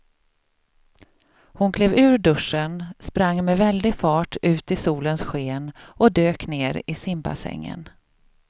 Hon klev ur duschen, sprang med väldig fart ut i solens sken och dök ner i simbassängen.